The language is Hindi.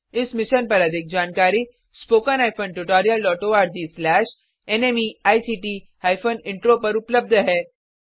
इस मिशन पर अधिक जानकारी httpspoken tutorialorgNMEICT इंट्रो पर उपलब्ध है